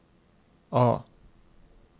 A